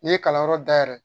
N'i ye kalanyɔrɔ dayɛlɛ